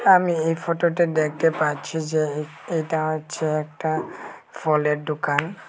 আমি এই ফোটোটে দেখতে পাচ্ছি যে এটা হচ্ছে একটা ফলের ডোকান ।